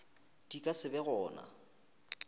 di ka se be gona